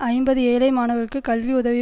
ஐம்பது ஏழை மாணவர்களுக்கு கல்வி உதவி